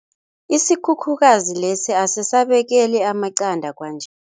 Isikhukhukazi lesi asisabekeli amaqanda kwanje.